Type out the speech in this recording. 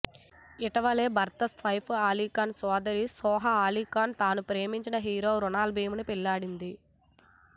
ఇటీవలే భర్త సైఫ్ అలీ ఖాన్ సోదరి సోహ ఆలీఖాన్ తానూ ప్రేమించిన హీరో ఖునాల్ ఖీముని పెళ్ళాడింది